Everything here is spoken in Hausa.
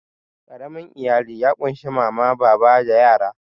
Ƙaramin iyali ya ƙunshi mama, baba da yara.